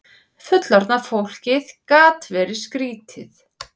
Fullorðna fólkið gat verið skrýtið.